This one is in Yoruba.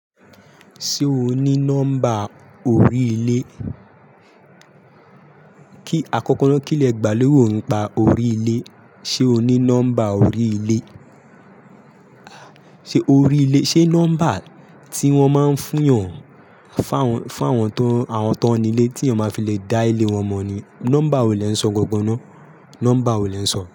Ṣé o ní nọ́mbà orí ilé? Kí, àkọ́kọ́ na kí lẹ gbà léwu ni pa orí ilé. Ṣé o ní nọ́mbà orí ilé? Ṣé orí ilé, ṣe nọ́mbà tí wọ́n máa ń fún yàn, fáwọn, fáwọn tó àwọn tó ní ilé tí èèyàn máa fi le dá ilé wọn mọ̀ ni. Nọ́mbà wo lè ń sọ gọ̀gbọ́n náà? Nọ́mbà wo lè ń sọ?